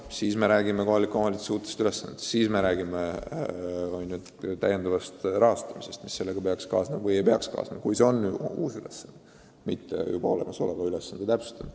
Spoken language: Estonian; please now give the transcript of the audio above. Siis me räägime kohaliku omavalitsuse uutest ülesannetest, siis me räägime täiendavast rahastamisest, mis sellega peaks kaasnema, kui see on uus ülesanne, mitte olemasoleva ülesande täpsustamine.